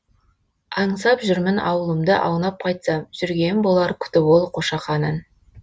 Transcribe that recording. аңсап жүрмін аулымды аунап қайтсам жүрген болар күтіп ол қошақанын